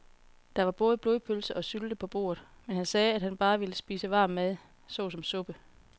Der var både blodpølse og sylte på bordet, men han sagde, at han bare ville spise varm mad såsom suppe.